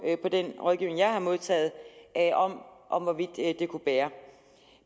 på den rådgivning jeg har modtaget om hvorvidt det kunne bære